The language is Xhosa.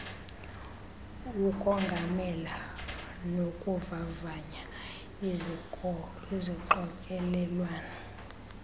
ukongamela nokuvavanya izixokelelwano